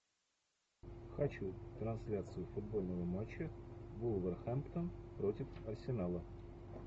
хочу трансляцию футбольного матча вулверхэмптон против арсенала